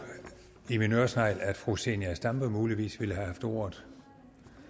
i min øresnegl at fru zenia stampe muligvis ville have haft ordet